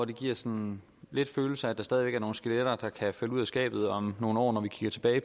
det giver sådan lidt følelsen af at der stadig væk er nogle skeletter der kan falde ud af skabet om nogle år når vi kigger tilbage